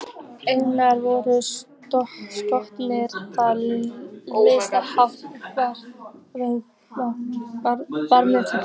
Einnig voru skoðaðar þar lítils háttar matarbirgðir.